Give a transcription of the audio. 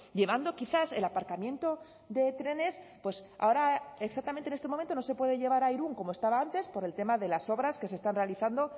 llevando quizás el aparcamiento de trenes pues ahora exactamente en este momento no se puede llevar a irún como estaba antes por el tema de las obras que se están realizando